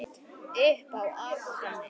Upp á Akranes.